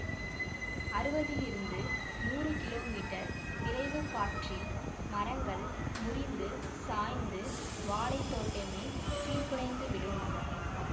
அறுவதிலிருந்து நூறு kilometre விரைவுக் காற்றில் மரங்கள் முறிந்து சாய்ந்து வாழைத்தோட்டமே சீர்குலைந்து விடும்